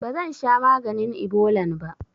Bazansha maganin ibolan ba